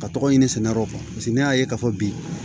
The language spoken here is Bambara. Ka tɔgɔ ɲini sɛnɛyɔrɔ kan ne y'a ye k'a fɔ bi